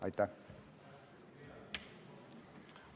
Aitäh!